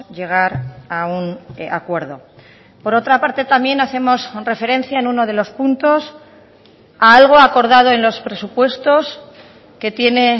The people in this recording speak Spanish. llegar a un acuerdo por otra parte también hacemos referencia en uno de los puntos a algo acordado en los presupuestos que tiene